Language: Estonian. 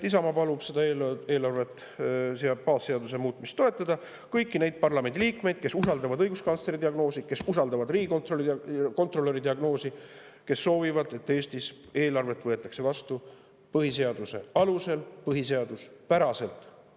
Isamaa palub seda eelarve baasseaduse muutmist toetada kõigil neil parlamendiliikmeil, kes usaldavad õiguskantsleri diagnoosi, kes usaldavad riigikontrolöri diagnoosi ning kes soovivad, et Eestis võetaks eelarvet vastu põhiseaduse alusel, põhiseaduspäraselt.